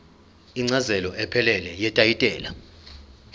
incazelo ephelele yetayitela